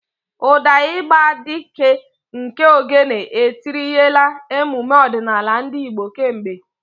Ụda igba dị ike nke Ogene etinyerela emume ọdịnala ndị Igbo kemgbe.